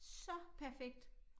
Så perfekt